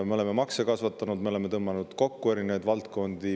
Me oleme makse kasvatanud, me oleme tõmmanud kokku erinevaid valdkondi.